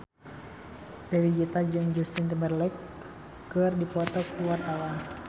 Dewi Gita jeung Justin Timberlake keur dipoto ku wartawan